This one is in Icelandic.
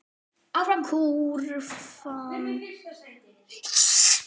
Kúrfan fer upp og niður.